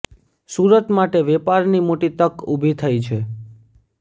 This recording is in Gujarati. સુરત માટે વેપારની મોટી તક ઉભી થઇ છે